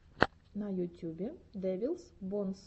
на ютюбе дэвилс бонс